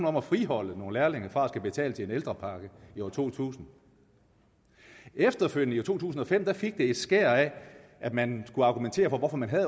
om at friholde nogle lærlinge fra at skulle betale til en ældrepakke i to tusind efterfølgende i to tusind og fem fik det et skær af at man skulle argumentere for hvorfor man havde